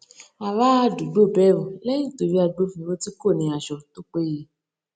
aráàdúgbò bẹrù lẹyìn tó rí agbófinró tí kò ní aṣọ tó péye